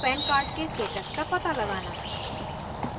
pan card के status का पता लगाना